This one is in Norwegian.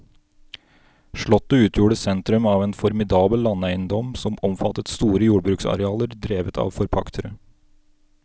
Slottet utgjorde sentrum av en formidabel landeiendom som omfattet store jordbruksarealer drevet av forpaktere.